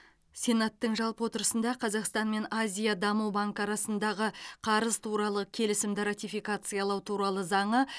сенаттың жалпы отырысында қазақстан мен азия даму банкі арасындағы қарыз туралы келісімді ратификациялау туралы заңы